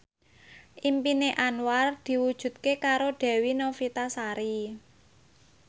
impine Anwar diwujudke karo Dewi Novitasari